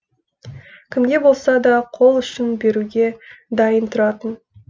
кімге болса да қол ұшын беруге дайын тұратын